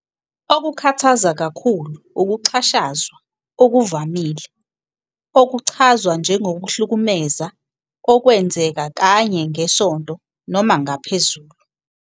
Okukhathaza kakhulu ukuxhashazwa okuvamile, okuchazwa njengokuhlukumeza okwenzeka kanye ngesonto noma ngaphezulu.